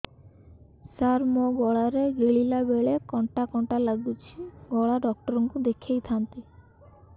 ସାର ମୋ ଗଳା ରେ ଗିଳିଲା ବେଲେ କଣ୍ଟା କଣ୍ଟା ଲାଗୁଛି ଗଳା ଡକ୍ଟର କୁ ଦେଖାଇ ଥାନ୍ତି